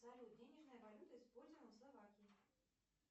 салют денежная валюта используемая в словакии